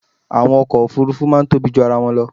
Àwọn ọkọ̀ Òfurufú máa tóbi ju ara wọn lọ.